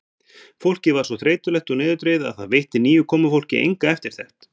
Fólkið var svo þreytulegt og niðurdregið að það veitti nýju komufólki enga eftirtekt.